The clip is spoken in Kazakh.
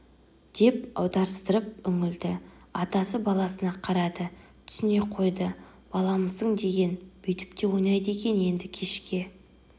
деп аударыстырып үңілді атасы баласына қарады түсіне қойды баламысың деген бүйтіп те ойнайды екен енді кешке